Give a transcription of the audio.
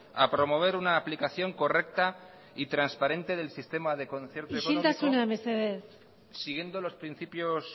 a promover una aplicación correcta y transparente del sistema de concierto económico siguiendo los principios